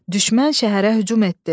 Düşmən şəhərə hücum etdi.